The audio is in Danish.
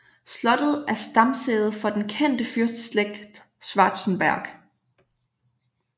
Slottet er stamsæde for den kendte fyrsteslægt Schwarzenberg